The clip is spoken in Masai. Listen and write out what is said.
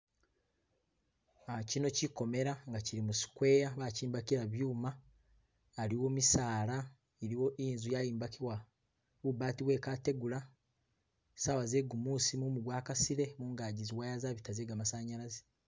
Ah kino kikomela nga kili mu square bakimbakila byuma , aliwo misala , iliwo inzu yayimbakibwa bu baati bwe kategula , sawa ze gumusi mumu gwa kasile mungaki zi wire zabita ze gamasanyazi.